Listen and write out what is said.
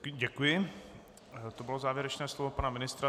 Děkuji, to bylo závěrečné slovo pana ministra.